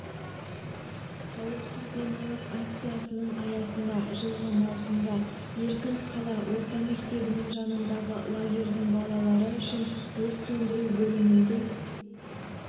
қауіпсіз демалыс акциясының аясында жылғы маусымда еркін қала орта мектебінің жанындағы лагердің балалары үшін өрт сөндіру бөлімінде